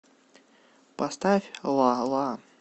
поставь ла ла